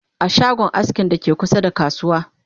a shagon askin da ke kusa da kasuwa